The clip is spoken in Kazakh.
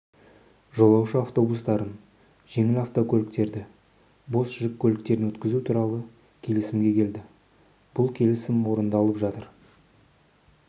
жолаушы автобустарын жеңіл автокөлікерді бос жүк көліктерін өткізу туралы келісімге келді бұл келісім орындалып жатыр